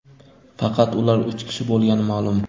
faqat ular uch kishi bo‘lgani ma’lum.